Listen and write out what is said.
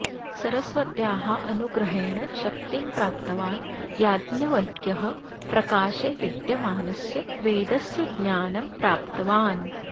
सरस्वत्याः अनुग्रहेण शक्तिं प्राप्तवान् याज्ञवल्क्यः प्रकाशे विद्यमानस्य वेदस्य ज्ञानं प्राप्तवान्